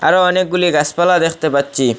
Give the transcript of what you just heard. আরো অনেকগুলি গাসপালা দেখতে পাচ্চি ।